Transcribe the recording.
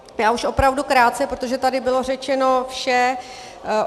Já už opravdu krátce, protože tady bylo řečeno vše.